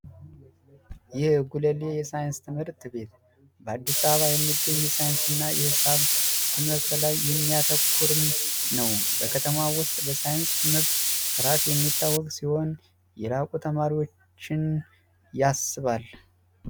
ይህ የጉለሌ ሳይንስ ትምህርት ቤት በአዲስ አበባ የሚገኝ በሳይንስና በሂሳብ ትምህርት ላይ የሚያተኩር ነው በከተማው ውስጥ በሳይንስ ትምህርት በጥራቱ የሚታወቅ ሲሆን የላቁ ተማሪዎችን ያስባል።